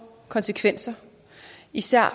konsekvenser især